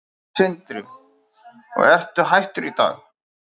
Sindri: Og ertu hættur í dag?